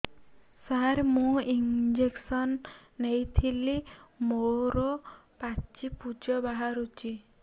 ସାର ମୁଁ ଇଂଜେକସନ ନେଇଥିଲି ମୋରୋ ପାଚି ପୂଜ ବାହାରୁଚି